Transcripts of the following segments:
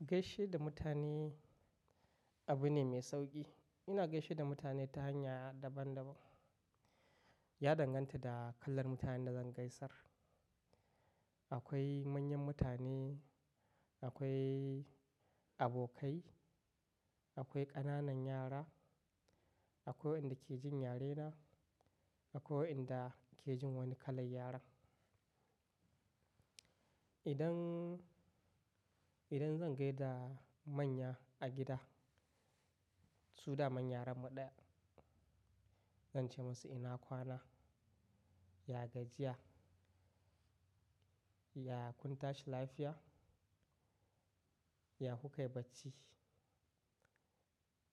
Gaishe da mutane abu ne mai sauƙi. Ina gaishe da mutane ta hanya daban-daban. Ya danganta da kalar mutanen da zan gaisar. Akwai manyan mutane, akwai abokai, akwai ƙananan yara, akwai wa'yanda ke jin yarena, akwai wa'yanda ke jin wani kalan yaran. Idan, idan zan gaida manya a gida, su daman yarrenmu ɗaya, zan ce musu ina kwana, ya gajiya. Ya kun tashi lafiya? Ya kukai bacci?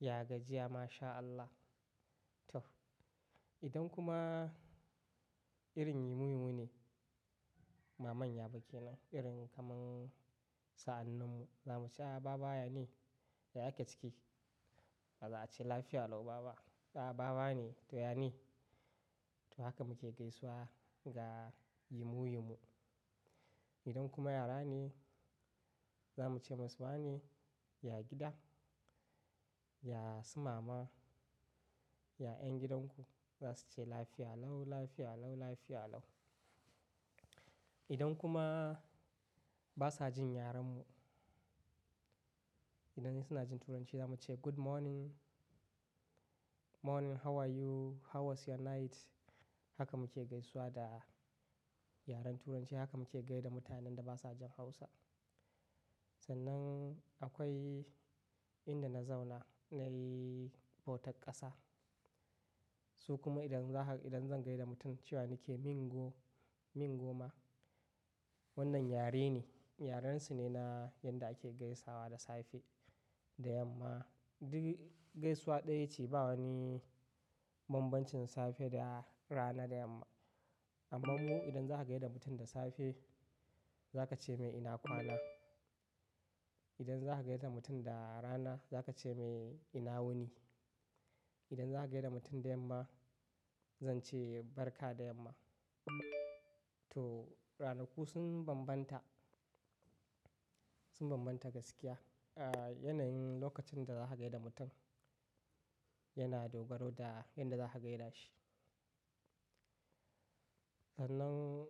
Ya gajiya ma sha Allah. To idan kuma irin yamu- yamu ne, ba manya ba kenan irin kaman sa'annin mu, za muce baba yane, ya ake ciki? Za a ce lafiya lau baba. Ah baba ne, to ya ne. To haka muke gaisuwa ga yamu yamu. Idan kuma yara ne, za muce musu wane, ya gida, ya su mama, ya ƴan gidanku, za su ce lafiya lau, lafiya lau, lafiya lau. Idan kuma ba sa jin yarenmu, idan suna jin Turanci zamu ce good morning, morning how are you? How was your night? Haka muke gaisuwa da yaren Turanci. Haka muke gai da mutanen da ba sa jin Hausa. Sannan akwai inda na zauna, nayi bautar ƙasa. Su kuma idan za ka, idan zan gai da mutum cewa nake mingo, mingoma, wannan yare ne. Yarensu ne na yanda ake gaisawa da safe, da yamma. Duk gaisuwa ɗaya ce ba wani bambancin safe da rana da yamma. Amma mu idan za ka gai da mutum da safe, za ka ce mai ina kwana. Idan za ka gai da mutum da rana, za ka ce mai ina wuni. Idan za ka gai da mutum da yamma, zan ce barka da yamma. To ranaku sun bambanta, sun bambanta gaskiya. A yanayin lokacin da za ka gai da mutum yana dogaro da yanda za ka gai da shi. Sannan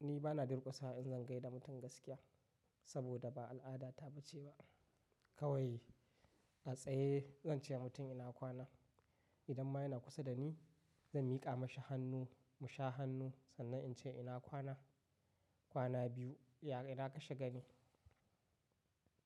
ni bana durƙusawa in zan gaida mutum gaskiya, saboda ba al'adata bace ba. Kawai a tsaye zan ce wa mutum ina kwana. Idan ma yana kusa da ni, zan miƙa mashi hannu, mu sha hannu, sannan in ce ina kwana. Kwana biyu, ya, ina ka shiga ni?